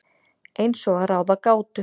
Eins og að ráða gátu.